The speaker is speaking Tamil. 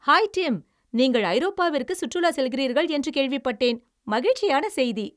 ஹாய் டிம், நீங்கள் ஐரோப்பாவிற்கு சுற்றுலா செல்கிறீர்கள் என்று கேள்விப்பட்டேன்! மகிழ்ச்சியான செய்தி!